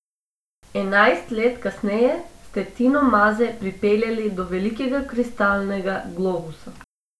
Enajst let kasneje ste Tino Maze pripeljali do velikega kristalnega globusa.